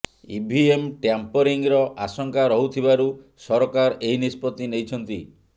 EVM ଟାମ୍ପରିଂର ଆଶଙ୍କା ରହୁଥିବାରୁ ସରକାର ଏହି ନିଷ୍ପତି ନେଇଛନ୍ତି